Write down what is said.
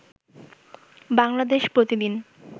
বাংলাদেশ প্রতি দিন